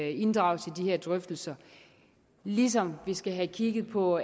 inddrages i de drøftelser ligesom vi skal have kigget på